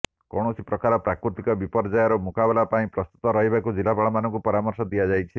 କୌଣସି ପ୍ରକାର ପ୍ରାକୃତିକ ବିପର୍ଯ୍ୟୟର ମୁକାବିଲା ପାଇଁ ପ୍ରସ୍ତୁତ ରହିବାକୁ ଜିଲ୍ଲାପାଳମାନଙ୍କୁ ପରାମର୍ଶ ଦିଆଯାଇଛି